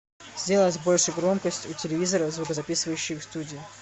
сделать больше громкость у телевизора в звукозаписывающей студии